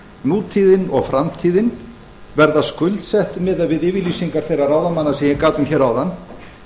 nútíðin og framtíðin verða skuldsett miðað við yfirlýsingar þeirra ráðamanna sem ég gat um hér áðan